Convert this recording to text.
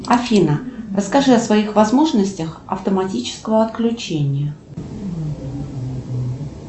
афина расскажи о своих возможностях автоматического отключения